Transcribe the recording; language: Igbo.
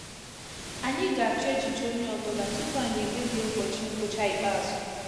Ànyị ga-achọ echiche ònye ọ bụla tupu anyị ekpebi ụbọchị ngwụcha ikpeazụ